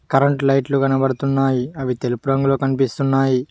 Current లైట్లు కనపడుతున్నాయి అవి తెలుపు రంగులో కనిపిస్తున్నాయి.